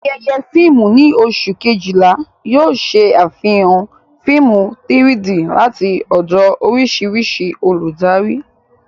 Ayẹyẹ fíìmù ní oṣù Kejìlá yóò ṣe àfihàn fíìmù 3-D láti ọ̀dọ̀ oríṣiríṣi olùdarí.